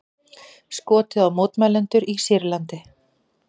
Skotið á mótmælendur í Sýrlandi